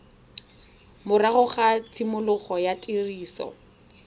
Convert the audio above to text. morago ga tshimologo ya tiriso